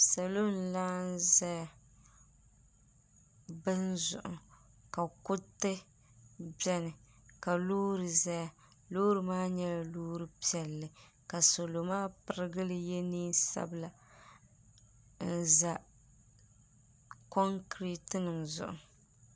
Salo n laɣim zaya bini zuɣu ka kuriti biɛni ka loori zaya loori maa nyɛla Loori piɛlli ka salo maa pirigili ye niɛn'sabla n za konkireti nima zuɣu.